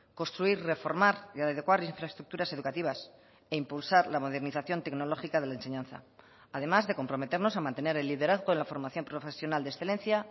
construir reformar y adecuar infraestructuras educativas e impulsar la modernización tecnológica de la enseñanza además de comprometernos a mantener el liderazgo de la formación profesional de excelencia